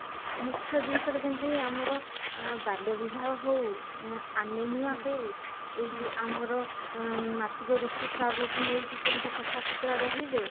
ମୁଖ୍ୟ ଜିନିଷ ରେ ଯେମିତି ଆମର ବାଲ୍ୟ ବିବାହ ହଉ anaemia ହଉ ଏଇ ଯୋଉ ଆମର ଉମ ମାସିକ ଋତୁସ୍ରାବ କୁ ନେଇକି କେମିତି ସଫା ସୁତୁରା ରହିବେ